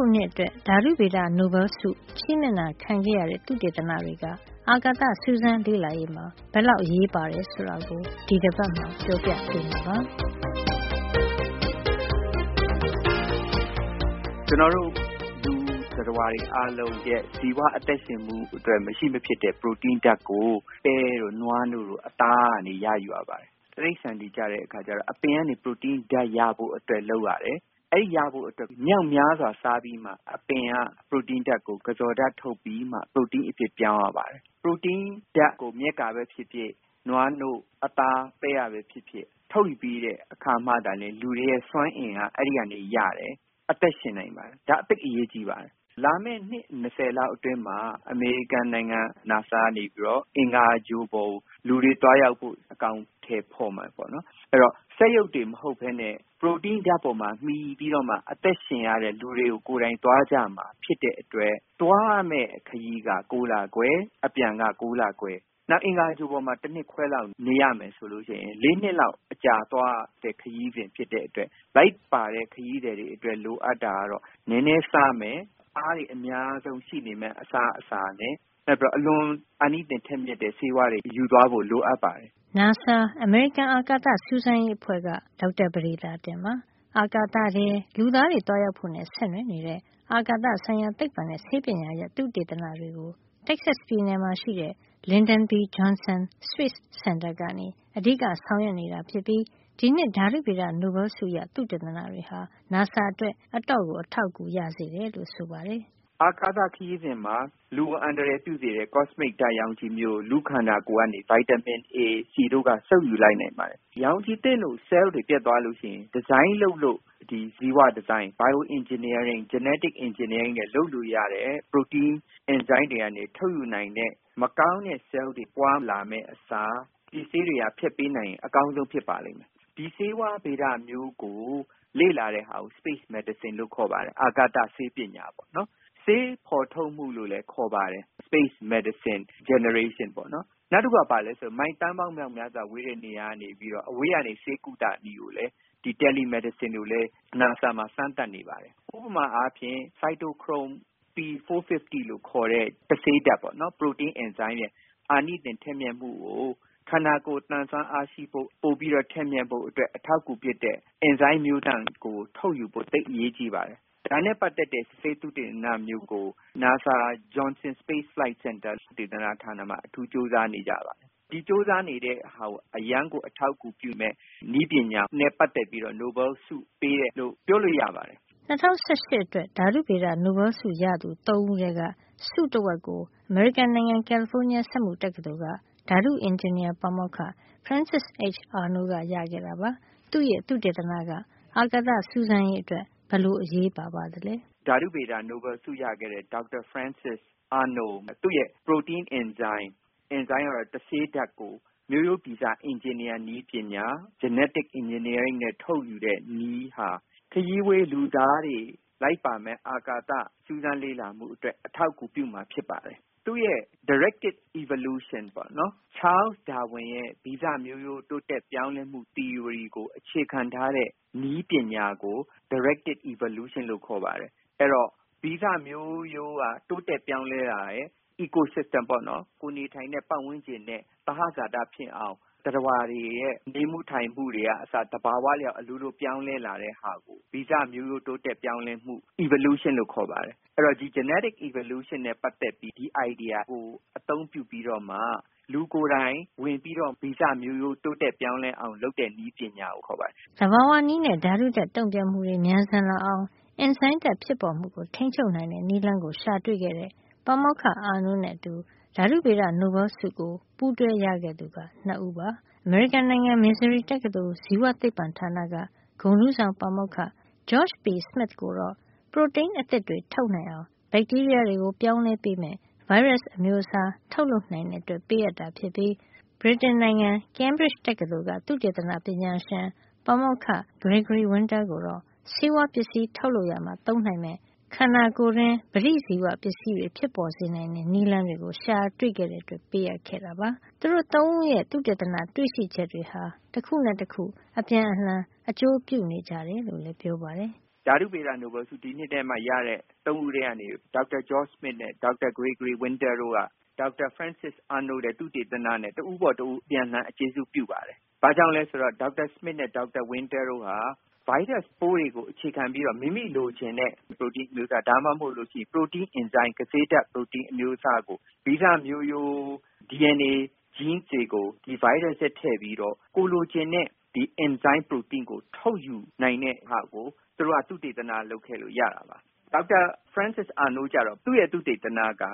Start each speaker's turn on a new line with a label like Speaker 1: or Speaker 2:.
Speaker 1: ခုနှစ်အတွက် ဓါတုဗေဒ နိုဘဲလ်ဆု ချီးမြှင့်တာခံခဲ့ရတဲ့ သုတေသနတွေက အာကာသစူးစမ်း လေ့လာရေး မှာ ဘယ်လောက် အရေးပါတယ် ဆိုတာကို ဒီတပတ်မှာ ပြောပြပေးမှာပါ။
Speaker 2: “ကျနော်တို့ သတ္တဝါတွေ အားလုံးအတွက် ဇီဝ အသက်ရှင်မှုအတွက် မရှိမဖြစ် လိုအပ်တဲ့ ပရိုတိန်းဓါတ်ကို ပဲတို့ နွားနို့တို့၊ အသားတို့ကနေ ရယူရပါတယ်။ တိရိစ္ဆာန်တွေကကျတော့ အပင်က ပရိုတိန်းရဖို့အတွက်လုပ်ရတယ်။ အဲဒီလိုရဖို့အတွက် မြောက်များစွာ စားပြီးမှ အပင်က ပရိုတိန်းဓါတ်ကို ကဇော်ဓါတ် ထုတ်ပြီးမှ ပရိုတိန်းအဖြစ် ပြောင်းရပါတယ်။ ပရိုတိန်းဓါတ်ကို မြက်ကပဲ ဖြစ်ဖြစ်၊ နွားနို့၊ အသား၊ ပဲကပဲ ဖြစ်ဖြစ် ထုတ်ယူတဲ့ အခါမှသာလျင် လူတွေရဲ့ စွမ်းအင်က အဲဒီကနေ ရပြီး အသက်ရှင်နိုင်ပါတယ်။ ဒါ့ကြောင့် ဒါဟာ သိပ်အရေးကြီးပါတယ်။ လာမယ့် အနှစ် ၂၀ လောက် အတွင်းမှာ အမေရိကန်နိုင်ငံ နာဆာသုတေသန ဌာန ကနေပြီးတော့ အင်္ဂါဂြိုဟ်ပေါ်ကို လူတွေ သွားရောက်ဖို့ လုပ်ဆောင်နေပါတယ်။ အဲဒီတော့ စက်ရုပ်တွေ မဟုတ်ပဲနဲ့ ပရိုတိန်းဓါတ်ပေါ်မှာ မှီပြီးတော့မှ အသက်ရှင်ရတဲ့ လူတွေ ကိုယ်တိုင် သွားကြရမှာ ဖြစ်တဲ့အတွက် သွားရမယ့် ခရီးက ၉ လခွဲ၊ အပြန်က ၉လခွဲ၊ နောက် အင်္ဂါဂြိုဟ်ပေါ်မှာ တနှစ်ခွဲလောက် နေရမယ် ဆိုလို့ရှိရင် ၄ နှစ်လောက် အကြာသွားမယ့် ခရီးစဉ် ဖြစ်တဲ့အတွက် လိုက်ပါတဲ့ လူတွေ အတွက် လိုအပ်တာကတော့ နဲနဲစားမယ် အားတွေ အများဆုံး ရှိနေမယ့် အစားအစာ၊ နောက်ပြီးတော့ အလွန်အာနိသင် ထက်မြက်တဲ့ ဆေးဝါးတွေ ယူသွားဖို့ လိုအပ်ပါတယ်
Speaker 1: ။” နာဆာ အမေရိကန် အာကာသစူးစမ်းရေးသိပ္ပံက ဒေါက်တာပဒေသာတင်ပါ။ အာကာသထဲ လူသားတွေ သွားရောက်ဖို့နဲ့ ဆက်နွယ်နေတဲ့ အာကာသဆိုင်ရာ သိပ္ပံနဲ့ ဆေးပညာရပ်ဆိုင်ရာ သုတေသနတွေကို Texas ပြည်နယ်မှာ ရှိတဲ့ Lyndon B. Johnson Space Center က အဓိကဆောင်ရွက်နေတာဖြစ်ပါတယ်။ ဒီနှစ် ဓါတုဗေဒ နိုဘဲလ်ဆုရ သုတေသနတွေဟာ နာဆာရဲ့ သုတေသနတွေအတွက် အတော်အထောက်အကူရစေတယ်လို့ ဆိုပါတယ်။
Speaker 2: “အာကာသ ခရီးစဉ်မှာ လူကို အန္တရာယ်ပြုစေတဲ့ ကော့စမစ်ဓါတ် ရောင်ခြည်မျိုးကို လူ့ခန္ဓာကိုယ်ကနေ ဗိုက်တာမင် အေ၊ ဒီ တို့က စုပ်ယူလိုက်နိုင်ပါတယ်။ ရောင်ခြည်သင့်လို့ ဆဲလ်တွေ ပျက်သွားလို့ရှိရင် bio design ဇီဝဒီဇိုင်း နဲ့ genetic engineering တွေနဲ့ လုပ်ယူလို့ရတဲ့ ပရိုတိန်း အင်ဇိုင်းတွေကနေ ထုတ်ယူနိုင်တဲ့ မကောင်းတဲ့ ဆဲလ်တွေပွါးလာမယ့် အစား ဒီဆေးတွေက ဖျက်ပေးနိုင်မယ် ဆိုရင် အကောင်းဆုံး ဖြစ်ပါမယ်။ ဒီဆေးဝါးဗေဒမျိုးကို လေ့လာတဲ့ ဟာမျိုးကို space medicine လို့ခေါ်ပါတယ်။ အာကာသဆေးပညာ ပေါ့နော်။ နောက် ဆေးဖေါ်ထုတ်မှု လို့လည်း ခေါ်ပါတယ်။ space medicine generation ပေါ့နော်။ နောက်တခုက မိုင် သန်းပေါင်း မြောက်များစွာ ဝေးတဲ့ နေရာကနေပြီး အဝေးကနေ ဆေးကုသနည်းကိုလည်း ဒီ tele medicine ကိုလည်း နာဆာမှာ စမ်းသပ်နေပါတယ်။ ဥပမာအားဖြင့် ဆိုက်တိုခရုမ် P 450 လို့ခေါ်တဲ့ တဆေးဓါတ်ပေါ့နော်။ ပရိုတိန်းအင်ဇိုင်းရဲ့ အာနိသင် ထက်မြက်မှုကို ခန္ဓာကိုယ် သန်စွမ်းအားရှိဖို့၊ ပိုပြီးတော့ ထက်မြက်ဖို့ အတွက် အထောက်အကူဖြစ်တဲ့ အင်ဇိုင်းမျိုးသန့်ကို ထုတ်ယူဖို့ သိပ်အရေးကြီးပါတယ်။ ဒါနဲ့ ပတ်သက်တဲ့ ဆေးသုတေသနမျိုးကို နာဆာ ဂျွန်ဆင် Space Flight Center သုတေသနဌာနမှာ အထူးကြိုးစား နေကြပါတယ်။ ဒီလို ကြိုးစား နေမှုကို အရမ်းကို အထောက်အကူပြုမယ့် နည်းပညာနဲ့ ပတ်သက်ပြီးတော့ နိုဘဲလ်ဆု ပေးတယ်လို့ ပြောလို့ရပါတယ်
Speaker 1: ။” ၂၀၁၈ ခုနှစ်အတွက် ဓါတုဗေဒ နိုဘဲလ်ဆုရခဲ့သူ ၃ ဦးထဲက ဆုတဝက်ကို အမေရိကန်နိုင်ငံ ကယ်လီဖိုးနီးယား စက်မှုတက္ကသိုလ်က ဓါတုအင်ဂျင်နီယာဌာန ပါမောက္ခ Frances H Arnold က ရခဲ့ပါတယ်။ သူ့ရဲ့ သုတေသနက အာကာသစူးစမ်းရေး အတွက် ဘယ်လို အရေးပါပါသလဲ
Speaker 2: ။ “ဓါတုဗေဒ နိုဘဲလ်ဆုရခဲ့တဲ့ ဒေါက်တာ ဖရန်စစ်အာနိုးကို သူ့ရဲ့ ပရိုတိန်း အင်ဇိုင်း - တဆေးဓါတ်ကို မျိုးရိုးဗီဇ အင်ဂျင်နီယာနည်းပညာ၊ genetic engineering နဲ့ ထုတ်ယူတဲ့နည်းဟာ အာကာသခရီးဝေးကို လိုက်ပါမယ့် လူသားတွေအတွက် အထောက်အကူပြုမှာ ဖြစ်ပါတယ်။ သူ့ရဲ့ directed evolution ပေါ့။ Charles Darwin ရဲ့ ဗီဇမျိုးရိုး တိုးတက်ပြောင်းလဲမှု သီအိုရီ ကို အခြေခံထားတဲ့နည်းပညာကို သူ့ရဲ့ directed evolution လို့ခေါ်ပါတယ်။ ဗီဇမျိုးရိုးက တိုးတက်ပြောင်းလဲတာရယ်၊ ဂေဟစံနစ် eco system ကိုယ်နေထိုင်တဲ့ ပတ်ဝန်းကျင်နဲ့ သဟဇာတ ဖြစ်အောင် သတ္တဝါတွေရဲ့ နေမှုထိုင်မှု တွေကအစ သဘာဝ အလျောက် အလိုလို ပြောင်းလဲလာတဲ့ ဟာကို ဗီဇမျိုးရိုး တိုးတက်ပြောင်းလဲမှု evolution လို့ခေါ်ပါတယ်။ အဲဒီ genetic evolution နဲ့ပတ်သက်ပြီး ဒီအိုင်ဒီယာကို အသုံးပြုပြီးတော့မှ လူကိုယ်တိုင် ဝင်ပြီးတော့ ဗီဇမျိုးရိုး တိုးတက် ပြောင်းလဲအောင် လုပ်တဲ့နည်းပညာကို ခေါ
Speaker 1: ်ပါတယ်။” သဘာဝနည်းနဲ့ ဓါတုဓါတ် တုန့်ပြန်မှုတွေ မြန်ဆန်လာအောင် အင်ဇိုင်းဓါတ်ဖြစ်ပေါ်မှုကို ထိန်းချုပ်နိုင်တဲ့ နည်းလမ်းကို ရှာတွေ့ခဲ့တဲ့ ပါမောက္ခ Arnold နဲ့ အတူ ဓါတူဗေဒ နိုဘဲလ်ဆုကို ပူးတွဲရခဲ့သူက ၂ ဦးပါ။ အမေရိကန်နိုင်ငံ Missouri တက္ကသိုလ် ဇီဝသိပ္ပံဌာနက ဂုဏ်ထူးဆောင်ပါမောက္ခ George P Smith ကိုတော့ ပရိုတိန်းအသစ်တွေ ထုတ်နိုင်အောင် ဘက်တီးရီးယားတွေကို ပြောင်းလဲပေးမယ့် ဗိုင်းရပ်စ်အမျိုးအစား ထုတ်လုပ်နိုင်တဲ့ အတွက်ပေးအပ်တာ ဖြစ်ပြီး ဗြိတိန်နိုင်ငံ Cambridge တက္ကသိုလ်က သုတေသနပညာရှင် ပါမောက္ခ Gregory Winter ကိုတော့ ဆေးဝါးပစ္စည်းထုတ်လုပ် ရာမှာ သုံးနိုင်မယ့် ခန္ဓာကိုယ်တွင်း ပဋိပစ္စည်းတွေ ဖြစ်ပေါ်စေနိုင်တဲ့ နည်းလမ်းကို ရှာတွေ့ခဲ့တဲ့အတွက် ဆုပေးအပ်ခဲ့တာပါ။ သူတို့ ၃ ဦးရဲ့ သုတေသန တွေ့ရှိချက်တွေဟာ တခုနဲ့ တခု အပြန်အလှန် အကျိုးပြု နေကြတယ် လို့လည်း ပြောပါတယ်
Speaker 2: ။ “ဒီနှစ်အတွက် ဓါတုဗေဒ နိုဘဲလ်ဆုရတဲ့ ၃ ဦးထဲက ဒေါက်တာ ဂျော့စမစ် နဲ့ ဒေါက်တာ ဂရေဂရီဝင်းတားတို့က ဒေါက်တာ ဖရန်စစ်အာနိုး လုပ်တဲ့ သုတေသနနဲ့ တဦးပေါ်တဦး အပြန်အလှန် ကျေးဇူးပြုပါတယ်။ ဘာကြောင့်လည်းဆိုတော့ ဒေါက်တာစမစ်နဲ့ ဒေါက်တာဝင်းတား တို့က ဗိုင်းရပ်စ်ပိုးတွေကို အခြေခံပြီးတော့ မိမိလိုချင်တဲ့ ပရိုတိန်းအမျိုးအစား ဒါမှမဟုတ် ပရိုတိန်းအင်ဇိုင်း ကဆေးဓါတ် ပရိုတိန်းအင်ဇိုင်းအမျိုးအစားကို ဗီဇမျိုးရိုး DNA genes တွေကို ဒီဗိုင်းရပ်စ်ထဲ ထည့်ပြီးတော့ ကိုယ်လိုချင်တဲ့ အင်ဇိုင်းပရိုတိန်းကို ထုတ်ယူနိုင်တဲ့ဟာကို သူတို့က သုတေသနလုပ်ခဲ့လို့ ရတာပါ။ ဒေါက်တာဖရန်စစ်အာနိုးကျတော့ သူ့ရဲ့ သုတေသနက